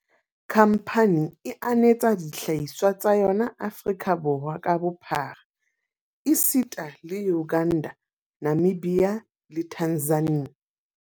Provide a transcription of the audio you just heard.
Khamphane e anetsa dihlahiswa tsa yona Aforika Borwa ka bophara esita le Uganda, Namibia le Tanzania.